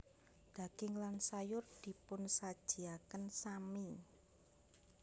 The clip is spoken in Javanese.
Daging lan sayur dipunsajiaken sami